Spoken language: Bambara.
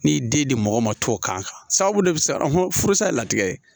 N'i den di mɔgɔ ma to k'a kan sababu de bi siran furusa ye latigɛ ye